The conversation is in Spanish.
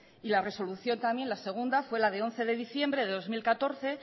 y la resolución también la segunda fue la de once de diciembre de dos mil catorce